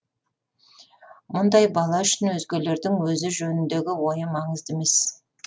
мұндай бала үшін өзгелердің өзі жөніндегі ойы маңызды емес